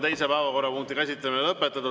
Teise päevakorrapunkti käsitlemine on lõpetatud.